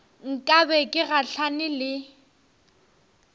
nka be ke gahlane le